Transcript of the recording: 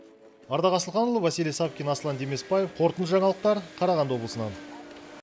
ардақ асылханұлы василий савкин аслан демесбаев қорытынды жаңалықтар қарағанды облысынан